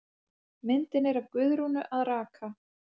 Myndin er af Guðrúnu að raka.